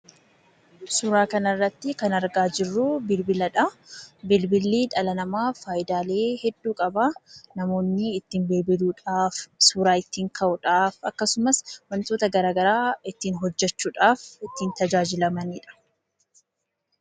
Suuraa kanarratti kan argaa jirru bilbiladhaa. Bilbilli dhala namaaf fayidaalee hedduu qaba. Namoonni ittiin bilbiluudhaaf, suuraa ittiin ka'uudhaaf akkasumas wantoota garaagaraa ittiin hojjachuuf ittiin tajaajilamanidha.